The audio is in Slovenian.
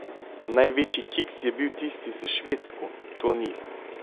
Največji kiks je bil tisti s Švedsko, to ni.